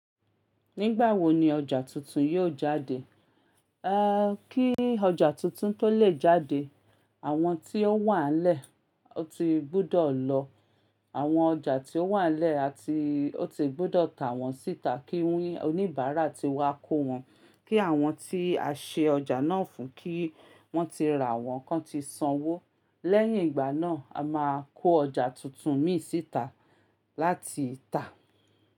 Nígbà wo ni ọjà tuntun yóò jáde? Kí ọjà tuntun tó lè jáde, àwọn tí ó wà ń lẹ́ẹ̀ ó ti gbudọ̀ lọ̀. Àwọn ọjà tí ó wà lẹ́ẹ̀ a ti ó ti gbudọ̀ tà wọ́n síta kí oníbàárà ti wá kó wọn. Kí àwọn tí a ṣe ọjà náà fún kí wọ́n ti rà wọ́n kan ti sanwó. Lẹ́yìn ìgbà náà, a máa kó ọjà tuntun mìí síta láti tà.